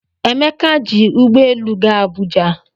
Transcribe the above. Emeka ji ụgbọ elu gaa Abuja